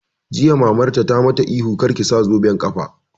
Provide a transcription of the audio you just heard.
Jiya Mamarta ta ma ta ihu 'Kar ki sa zoben ƙafa'!